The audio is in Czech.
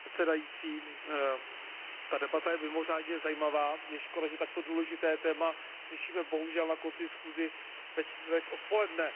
Pane předsedající, ta debata je mimořádně zajímavá, je škoda, že takto důležité téma řešíme bohužel na konci schůze ve čtvrtek odpoledne.